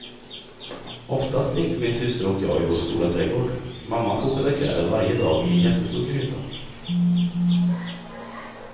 Oftast lekte min syster och jag i vår stora trädgård, mamma kokade kläder varje dag i en jättestor gryta.